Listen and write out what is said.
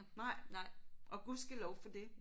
Nej og gudskelov for det